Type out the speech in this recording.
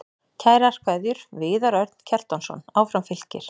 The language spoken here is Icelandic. Kærar kveðjur, Viðar Örn Kjartansson Áfram Fylkir